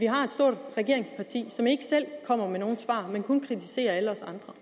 har et stort regeringsparti som ikke selv kommer med nogen svar men kun kritiserer alle os andre